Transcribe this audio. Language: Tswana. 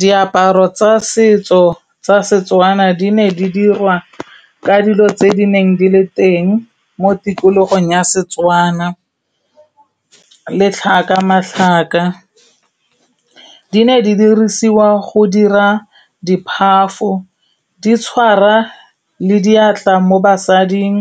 Diaparo tsa setso tsa Setswana di ne di dirwa ka dilo tse di neng di le teng mo tikologong ya Setswana, letlhaka, matlhaka. Di ne di dirisiwa go dira di phafo, di tshwara le diatla mo basading.